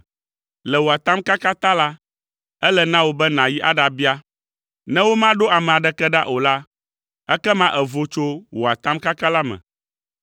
Le wò atamkaka ta la, ele na wò be nàyi aɖabia. Ne womaɖo ame aɖeke ɖa o la, ekema èvo tso wò atamkaka la me.’